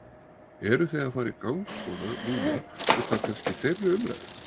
Eru þið að fara í gang svona núna útaf kannski þeirri umræðu?